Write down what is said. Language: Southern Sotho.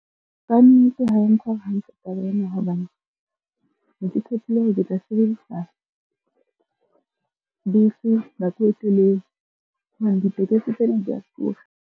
Kannete ha e ntshware hantle taba ena hobane, ne ke tshepile hore ke tla sebedisa bese nako e telele hobane ditekesi tsena di a tura.